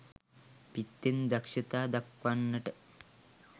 පිත්තෙන් දක්ෂතා දක්වන්නට